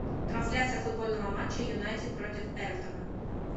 трансляция футбольного матча юнайтед против эвертона